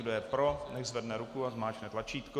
Kdo je pro, nechť zvedne ruku a zmáčkne tlačítko.